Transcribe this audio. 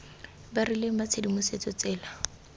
ba rileng ba tshedimosetso tsela